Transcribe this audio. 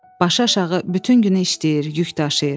Başıaşağı bütün günü işləyir, yük daşıyır.